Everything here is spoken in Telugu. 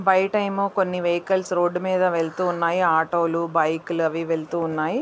బయట ఏమో కొన్ని వెహికల్స్ రోడ్డు మీద వెళ్తూ ఉన్నాయి. ఆటో లు బైకు లు అవి వెళుతున్నాయి.